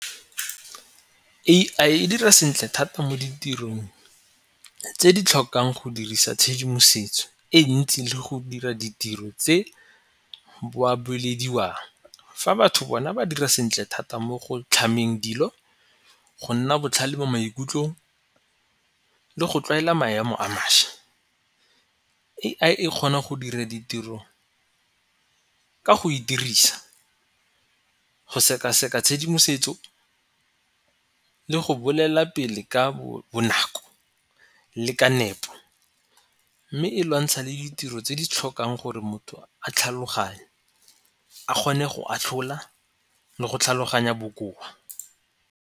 A_I e dira sentle thata mo ditirong tse di tlhokang go dirisa tshedimosetso e ntsi le go dira ditiro tse boa-boelediwang fa batho bona ba dira sentle thata mo go tlhamameng dilo, go nna botlhale mo maikutlong le go tlwaela maemo a mašwa. A_I e kgona go dira ditiro ka go e dirisa go sekaseka tshedimosetso le go bolela pele ka bonako, le ka nepo. Mme e lwantsha le ditiro tse di tlhokang gore motho a tlhaloganye, a kgone go atlhola, le go tlhaloganya bokoa.